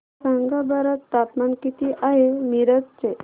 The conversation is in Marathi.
सांगा बरं तापमान किती आहे मिरज चे